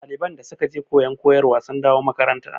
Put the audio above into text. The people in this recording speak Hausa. ɗaliban da suke je koyon koyarwa sun da wo makaranta